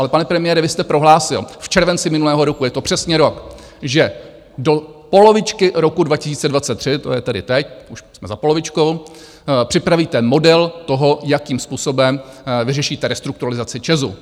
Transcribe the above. Ale, pane premiére, vy jste prohlásil v červenci minulého roku, je to přesně rok, že do polovičky roku 2023, to je tedy teď, už jsme za polovičkou, připravíte model toho, jakým způsobem vyřešíte restrukturalizaci ČEZu.